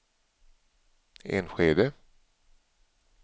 Enskede